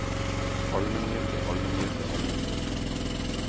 almengyldig almengyldig almengyldig